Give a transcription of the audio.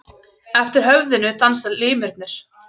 Eftir höfðinu dansa limirnir.